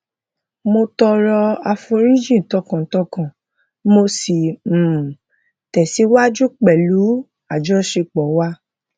mo tọrọ àforífojìn tọkàntọkàn mo sì um tẹsíwájú pẹlú àjọṣepọ wa